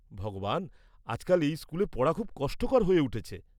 ভগবান! আজকাল এই স্কুলে পড়া খুব কষ্টকর হয়ে উঠেছে।